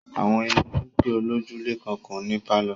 Àwọn ilé olókè olójúlé kan kò ní pálọ̀